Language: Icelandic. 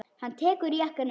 Hann tekur jakkann upp.